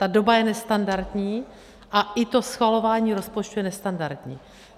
Ta doba je nestandardní a i to schvalování rozpočtu je nestandardní.